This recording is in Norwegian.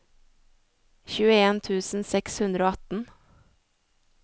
tjueen tusen seks hundre og atten